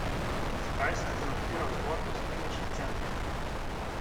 Zakaj sem komentiral zgodbo s kliničnim centrom?